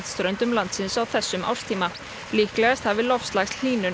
ströndum landsins á þessum árstíma líklegast hafi